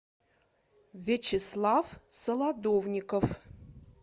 вячеслав солодовников